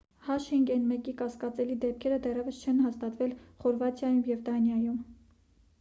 h5n1-ի կասկածելի դեպքերը դեռևս չեն հաստատվել խորվաթիայում և դանիայում: